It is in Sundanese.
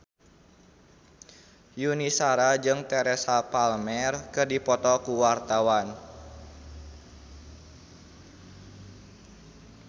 Yuni Shara jeung Teresa Palmer keur dipoto ku wartawan